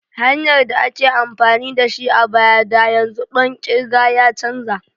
Hanyar da ake amfani da shi a baya da yanzu ɗon kirga ya canza.